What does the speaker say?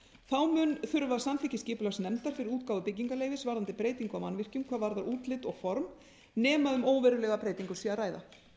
þá mun þurfa samþykki skipulagsnefndar fyrir útgáfu byggingarleyfis varðandi breytingu á mannvirkjum hvað varðar útlit og form nema um óverulega breytingu sé að ræða